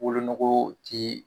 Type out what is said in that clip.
Wolonugu tɛ